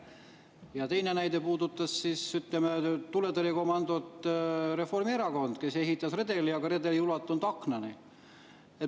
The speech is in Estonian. Ja teine näide puudutas tuletõrjekomandot Reformierakond, kes ehitas redeli, aga redel ei ulatunud aknani.